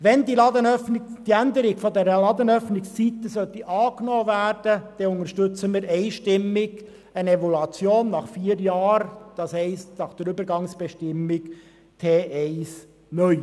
Sollte die Änderung der Ladenöffnungszeiten angenommen werden, dann unterstützen wir einstimmig eine Evaluation nach vier Jahren, das heisst entsprechend der Übergangsbestimmung T1 (neu).